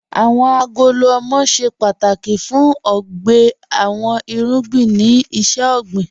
Awọn agolo ọmọ ṣẹ pátákì fún ọgbè àwọn irugbìn ni iṣẹ̀-ọgbìN